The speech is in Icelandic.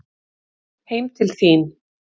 Heim til þín